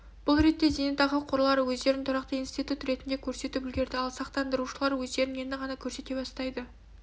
бұл ретте зейнетақы қорлары өздерін тұрақты институт ретінде көрсетіп үлгерді ал сақтандырушылар өздерін енді ғана көрсете бастайды